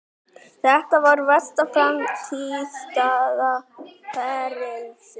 Þetta var versta frammistaða ferilsins.